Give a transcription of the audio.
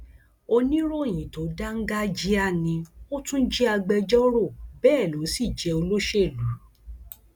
oníròyìn tó dáńgájíá ni ó tún jẹ agbẹjọrò bẹẹ ló sì jẹ olóṣèlú